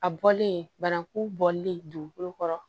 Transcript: A bɔlen banakun bɔlen kɔrɔ